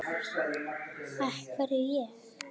Af hverju ég?